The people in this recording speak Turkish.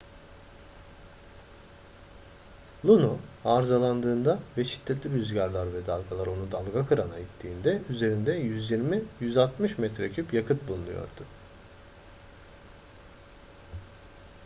luno arızalandığında ve şiddetli rüzgarlar ve dalgalar onu dalgakırana ittiğinde üzerinde 120-160 metreküp yakıt bulunuyordu